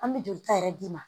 An bɛ jolita yɛrɛ d'i ma